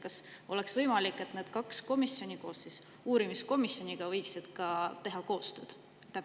Kas oleks võimalik, et need kaks komisjoni võiksid teha koostööd?